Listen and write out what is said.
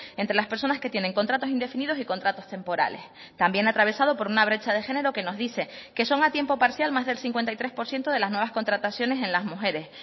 entre las personas que tienen contratos indefinidos y contratos temporales también atravesado por una brecha de género que nos dice que son a tiempo parcial más del cincuenta y tres por ciento de las nuevas contrataciones en las mujeres